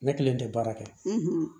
Ne kelen tɛ baara kɛ